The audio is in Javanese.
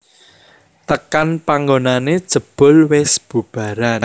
Tekan panggonané jebul wis bubaran